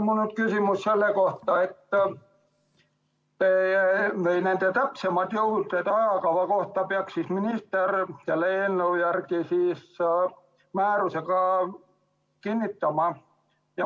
Mul on küsimus selle kohta, et täpsemad juhised ajakava kohta peaks minister selle eelnõu järgi määrusega kinnitama.